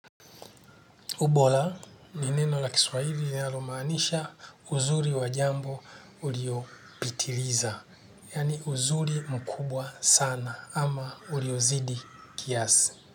Ubora, ni neno la kiswahili linalo maanisha uzuri wa jambo uliopitiliza. Yaani uzuri mkubwa sana ama uliozidi kiasi.